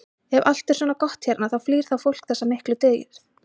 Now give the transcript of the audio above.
Ef allt er svona gott hérna, því flýr þá fólk þessa miklu dýrð?